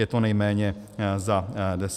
Je to nejméně za deset let.